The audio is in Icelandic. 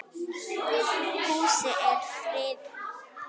Húsið er friðað.